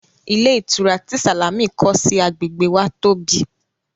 Ilé ìtura tí Sàlámì kọ́ sí agbègbè wa tóbi